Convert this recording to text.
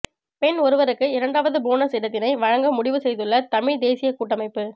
பெண் ஒருவருக்கு இரண்டாவது போனஸ் இடத்தினை வழங்க முடிவு செய்துள்ள தமிழ்த் தேசியக் கூட்டமைப்பு